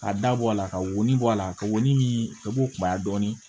Ka da bɔ a la ka wo bɔ a la ka wɔni min ka bɔ kunbaya dɔɔnin